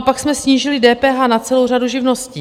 A pak jsme snížili DPH na celou řadu živností.